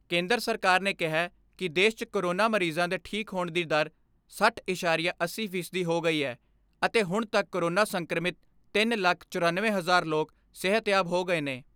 ਕੇਂਦਰ ਸਰਕਾਰ ਨੇ ਕਿਹੈ ਕਿ ਦੇਸ਼ 'ਚ ਕੋਰੋਨਾ ਮਰੀਜ਼ਾਂ ਦੇ ਠੀਕ ਹੋਣ ਦੀ ਦਰ ਸੱਠ ਐਸਾਰੀਆ ਅੱਸੀ ਫੀਸਦੀ ਹੋ ਗਈ ਐ ਅਤੇ ਹੁਣ ਤੱਕ ਕੋਰੋਨਾ ਸੰਕਰਮਿਤ ਤਿੰਨ ਲੱਖ ਚਰਨਵੇਂ ਹਜ਼ਾਰ ਲੋਕ ਸਿਹਤਯਾਬ ਹੋ ਗਏ ਨੇ।